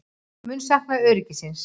Mun sakna öryggisins.